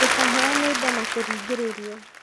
Ndũkaheane indo na kũringĩrĩrio